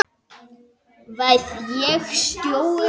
Verð ég stjóri á jóladag?